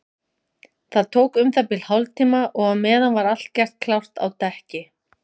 Það tók um það bil hálftíma og á meðan var allt gert klárt á dekki.